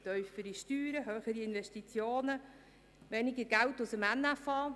Tiefere Steuern, höhere Investitionen, weniger Geld aus dem NFA…